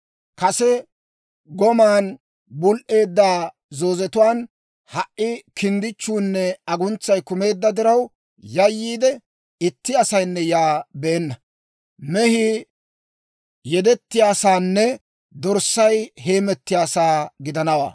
Kase goman bul"eedda zoozetuwaan ha"i kinddichchuunne aguntsay kumeedda diraw yayyiide, itti asaynne yaa beenna. Mehii yedetiyaasaanne dorssay hemetiyaasaa gidanawaa.